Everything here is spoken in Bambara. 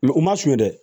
u ma sonya dɛ